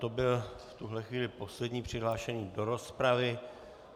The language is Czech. To byl v tuhle chvíli poslední přihlášený do rozpravy.